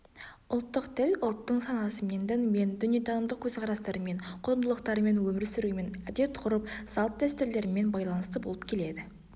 ұлттық тіл ұлттың санасымен ділімен дүниетанымдық көзқарастарымен құндылықтарымен өмір сүруімен әдетғұрып салт-дәстүрлерімен байланысты болып келеді